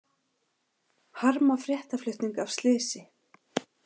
Harma fréttaflutning af slysi